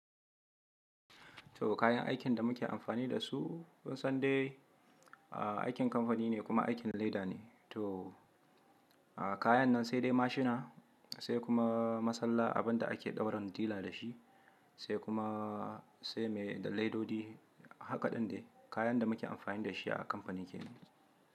To kayan aikin da muke amfani da su, kun san dai aikin kamfani ne kuma aikin leda ne. To a kayan nan sai dai mashina, sai kuma masalla, abin da ake ɗaura dila da shi, sai kuma sai me da ledodi. Haka ɗin dai kayan da muke amfani da shi a kamfanin kenan.